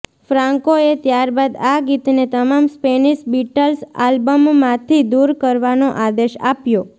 ફ્રાન્કોએ ત્યારબાદ આ ગીતને તમામ સ્પેનિશ બીટલ્સ આલ્બમમાંથી દૂર કરવાનો આદેશ આપ્યો